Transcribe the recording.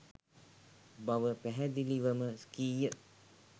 බව පැහැදිලිවම කීය.